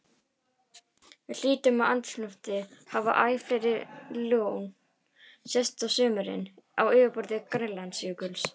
Við hlýnun andrúmslofts hafa æ fleiri lón sést á sumrin á yfirborði Grænlandsjökuls.